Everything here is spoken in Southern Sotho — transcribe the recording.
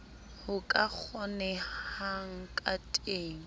ho ka kgonehang ka teng